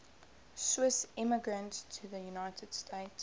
swiss immigrants to the united states